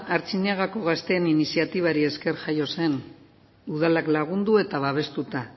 artziniegako gazteen iniziatibari esker jaio zen udalak lagundu eta babestuta